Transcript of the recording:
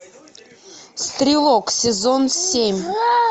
стрелок сезон семь